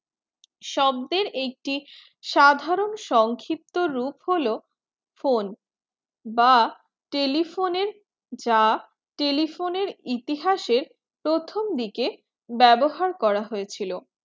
শব্দের একটি সাধারণ সংক্ষিপ্ত রূপ হলো phone বা telephone যা telephone ইতিহাসের প্রথম দিকে ব্যাবহার করা হয়েছিল।